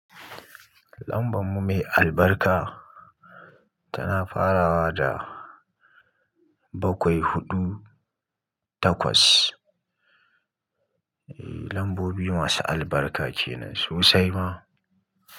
Lambar mu mai albarka tana farawa da bakwai hudu takwas. Ps eh lambobi masu albarka kenan sosai ma.